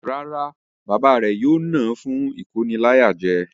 Rárá, Bàbá rẹ̀ yóò ná fún ìkóniláyàjẹ.